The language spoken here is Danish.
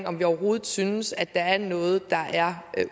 om vi overhovedet synes at der er noget der er